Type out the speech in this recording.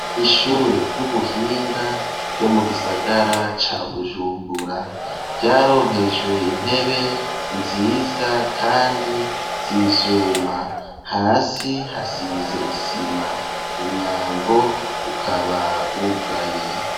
Ishure ry'ubuhinga ryo mu gisagara ca Bujumbura ryaronkejwe intebe nziza kandi zivyuma hasi hasize isima umwango ukaba wugaye.